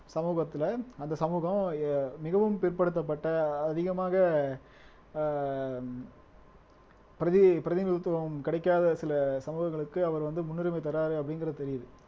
சமூகத்துல அந்த சமூகம் அஹ் மிகவும் பிற்படுத்தப்பட்ட அதிகமாக ஆஹ் பிரதி பிரதிநிதித்துவம் கிடைக்காத சில சமூகங்களுக்கு அவர் வந்து முன்னுரிமை தர்றாரு அப்படிங்கிறது தெரியுது